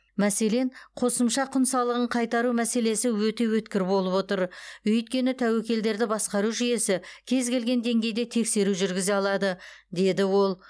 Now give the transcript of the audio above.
мәселен қосымша құн салығын қайтару мәселесі өте өткір болып отыр өйткені тәуекелдерді басқару жүйесі кез келген деңгейде тексеру жүргізе алады деді ол